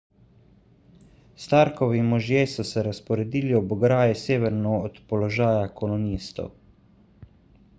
starkovi možje so se razporedili ob ograji severno od položaja kolonistov